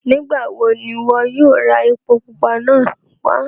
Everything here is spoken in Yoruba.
Nígbawó ni iwọ yóò rà èpò púpà náà wà?